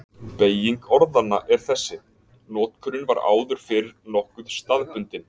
Beyging orðanna er þessi: Notkunin var áður fyrr nokkuð staðbundin.